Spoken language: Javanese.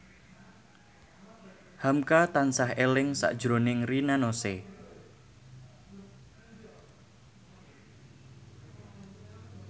hamka tansah eling sakjroning Rina Nose